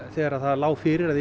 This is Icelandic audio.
þegar það lá fyrir að